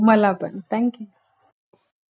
मला पण थंक्यू